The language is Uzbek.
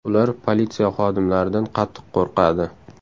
Ular politsiya xodimlaridan qattiq qo‘rqadi.